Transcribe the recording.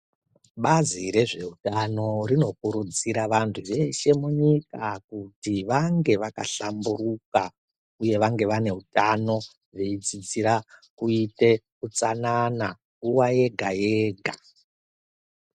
Bazi rezveutano rinokurudzira vantu veshe munyika kuti vange vakahlamburuka uye vange vane utano veidzidzira kuite utsanana nguwa yega yega .